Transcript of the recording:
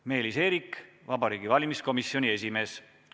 Meelis Eerik, Vabariigi Valimiskomisjoni esimees.